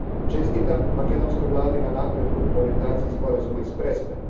Čestitam makedonskoj Vladi na napretku u implementaciji Sporazuma iz Prespe.